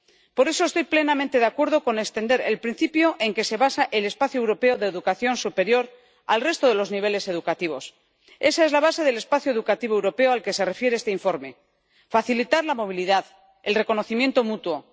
Por eso estoy plenamente de acuerdo con extender el principio en que se basa el espacio europeo de educación superior al resto de los niveles educativos. Esa es la base del espacio educativo europeo al que se refiere este informe facilitar la movilidad, el reconocimiento mutuo.